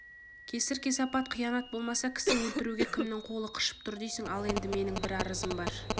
кесір-кесепат қиянат болмаса кісі өлтіруге кімнің қолы қышып тұр дейсің ал енді менің бір арызым бар